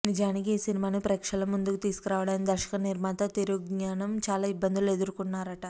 నిజానికి ఈ సినిమాను ప్రేక్షకుల ముందుకు తీసుకురావడానికి దర్శక నిర్మాత తిరుజ్ఞానం చాలా ఇబ్బందులు ఎదుర్కున్నారట